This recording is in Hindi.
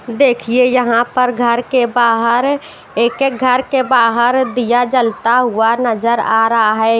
देखिए यहाँ पर घर के बाहर एक-एक घर के बाहर दिया जलता हुआ नजर आ रहा है।